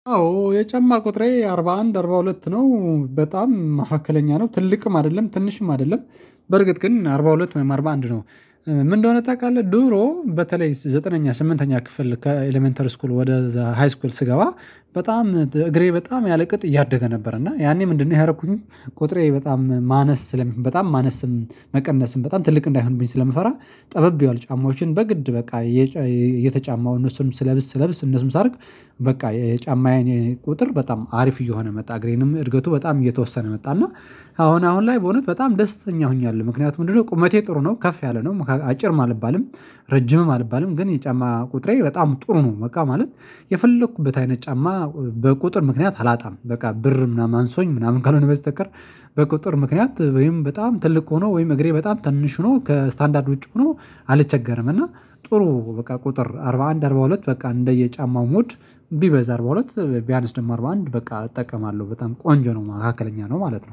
አዎ የጨማ ቁጥሬ አርባ አንድ አርባ ሁለት ነው በጣም መካከለኛ ነው ትልቅም አይደለም ትንሽም አይደለም። በርግጥ ግን አርባ ሁለት ወይ አርባ አንድ ነው? ምን እንደሆነ ታውቃለህ ድሮ በተለይ ዘጠነኛ ስምንተኛ ክፍል ከኤሌመንተሪ ስኩል ወደ ዘ ሃይ ስኩል ስገባ በጣም እግሬ በጣም ያለ ቅጥ እያደገ ነበር እና ያኔ ምንድነው ያደረኩኝ ቁጥሬ በጣም ማነስ በጣም ማነስም መቀነስም በጣም ትልቅ እንዳይሆንብኝ ስለምፈራ። ጠበብ ያሉ ጫማዎችን በግድ በቃ እየተጫማው እነሱንም ስለብስ ስለብስ እነሱንም ሳደርግ። በቃ የጫማዬን ቁጥር በጣም አሪፍ እየሆነ መጣ እግሬንም እድገቱ በጣም እየተወሰነ መጣ እና። አሁን አሁን ላይ በእውነት በጣም ደስተኛ ሆኛለሁ ምክንያቱም ምንድነው ቁመቴ ጥሩ ነው ከፍ ያለ ነው አጭርም አልባልም። ረጅምም አልባልም ግን የጫማ ቁጥሬ በጣም ጥሩ ነው በቃ ማለት የፈለኩበት አይነት ጫማ በቁጥር ምክንያት አላጣም በቃ ብር ምናምን አንሶኝ ምናምን ካልሆነ በስተቀር። በቁጥጥር ምክንያት ወይም በጣም ትልቅ ሆኖ ወይም እግሬ በጣም ትንሽ ሆኖ ከስታንዳርድ ውጪ ሆኖ አልቸገርም። እና ጥሩ በቃ ቁጥር አርባ አንድ አርባ ሁለት በቃ እንደየ ጫማው ሞድ። ቢበዛ አርባ ሁለት ቢያንስ ደግሞ አርባ አንድ በቃ እጠቀማለሁ በጣም ቆንጆ ነው ማካከለኛ ነው ማለት ነው